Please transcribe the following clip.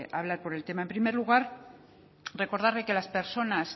hablar por el tema en primer lugar recordarle que las personas